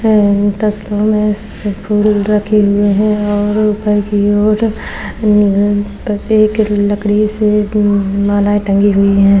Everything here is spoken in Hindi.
और इस तस्वीर में सस फूल रखे हुए हैं और ऊपर की ओर लकड़ी से मालाय टांगी हुई हैं।